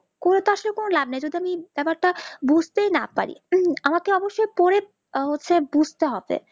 করে তা কোনো লাভ নেই সুতরাং ব্যাপারটা বুজতেই না পারি তো আমাকে অবশ্যই পড়ি আহ হচ্ছে বুজতে হবে